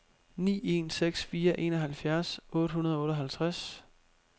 ni en seks fire enoghalvfjerds otte hundrede og otteoghalvtreds